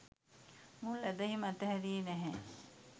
මුල් ඇදහීම අතහැරියේ නැහැ.